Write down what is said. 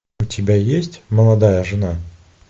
у тебя есть молодая жена